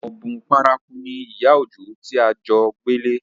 Ọ̀bùn paraku ni ìyá Òjó tí à ń jo gbélé